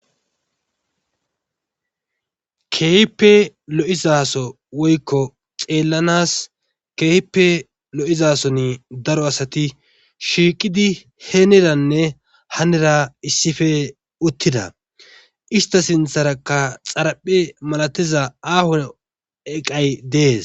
Keehippe lo'iza so woyko xelanas keehippe lo'iza Soni daro asati shiiqid heniranne hanira issipe utida issita sintharaka xaraphe masatiza aaho eqay des.